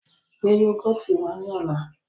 Gbé yúgọ́ọ́tì wá ní ọ̀la!